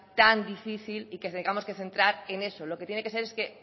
tan difícil y que tengamos que centrar en eso lo que tiene que ser es que